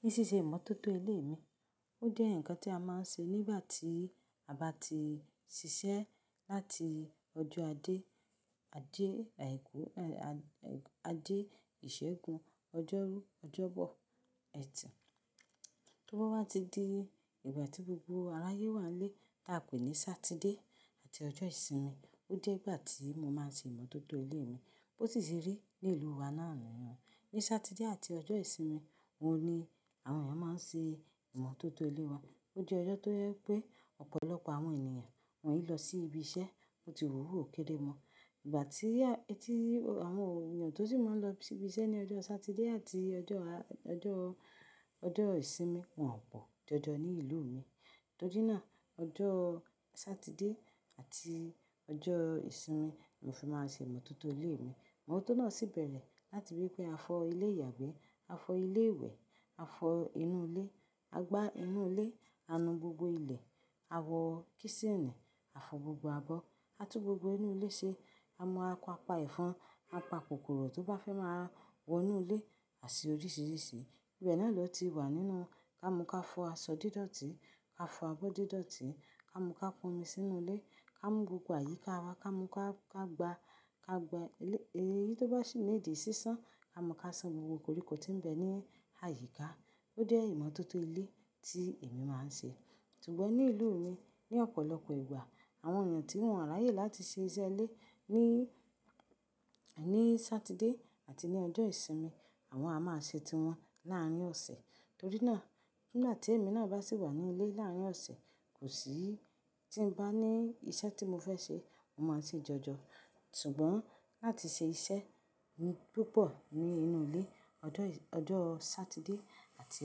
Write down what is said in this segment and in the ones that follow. Ní siṣe ìmọ́tótó ilé mi, ó jẹ́ ǹnkan tí a máa ń ṣe nígbà tí a bá ti ṣiṣẹ́ láti ọjọ́ àjẹ, Ajẹ Àìkú, àjẹ Ìṣẹ́gun, ọjọ́rú, ọjọ́bọ, ẹ̀tì. Tó bá wa ti di ìgbà tí gbogbo aráyé wà n lé t'a pè ní Sátidé àti ọjọ́ ìsinmi, ó jẹ́ ìgbà tí mo máa ṣe ìmọ́tótó ilé mi. Bó ti ṣe rí ní ìlú wa náà nìyẹn. Ni Sátidé àti ọjọ́ ìsinmi, òun ni àwọn èèyàn máa ń ṣe ìmọ́tótó ilé wọn. Ó jẹ́ ọjọ́ tó jẹ pé ọ̀pọ̀lọpọ̀ àwọn ènìyàn wọ́n e lọ sí ibi iṣẹ́, bo ti wù o wù òkéré mọ. Ìgbà tí ẹ́ ti àwọn èèyàn tó sì máa ń lọ sí ibi iṣẹ́ ní ọjọ́ Sátidé àti ọjọ́, ọjọ́, ọjọ́ ìsinmi, wọ́n ò pọ̀ jọjọ ní ìlú mi. Torí náà, ọjọ́ Sátidé àti ọjọ́ ìsinmi ni mo fi máa ṣe ìmọ́tótó ilé mi. Ìmọ́tótó náà sì bẹ̀rẹ̀ láti wí pé a fọ ilé ìyàgbẹ́, a fọ ilé ìwẹ̀, a fọ inú ilé, a gbá inú ilé, a nu gbogbo ilẹ̀, a wọ́ kísìnì, a fọ gbogbo abọ́, a tún gbogbo inú ilé ṣe, a mọ apa pa ẹ̀fọn, a pa kòkòrò tó bá fẹ́ máa wọ inú ilé àti oríṣìíríṣìí. Ìbẹ̀ náà lọ ti wà nínú ká mu ká fọ aṣọ dídọ̀ọ̀tí, ká fọ abọ́ dídọ̀ọ̀tí, ká mú ká pon omi sínú ilé, ká mú gbogbo àyíká wa, ká mú ká, ká gba, ká gba èyí tó bá sì níìdí sísán, ká mú ká san gbogbo koríko tí ń bẹ ní àyíká. Ó jẹ́ ìmọ́tótó ilé tí èmi máa ń ṣe. Sùgbọ̀n ní ìlú mi ní ọ̀pọ̀lọpọ̀ ìgbà àwọn èèyàn tí wọ́n ráyè láti ṣe iṣẹ́ ilé ní, ní Sátidé àti ní ọjọ́ ìsinmi, àwọn a máa ṣe tiwọn láàárín ọ̀sẹ̀. Torí náà, nigba tí emi naa bá sì wà ní ilé láàárín ọ̀sẹ̀, kò sí tí ń bá ní iṣẹ́ tí mo fẹ́ ṣe, mo máa se jọjọ. Sùgbọ́n láti ṣe iṣẹ́ púpọ̀ ní inú ilé ọjọ́, ọjọ́ Sátidé àti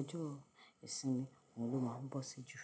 ọjọ́ ìsinmi, òun ló máa ń bọ́ ṣi jù.